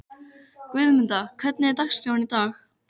Guðmunda, hvernig er dagskráin í dag?